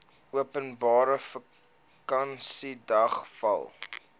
openbare vakansiedag val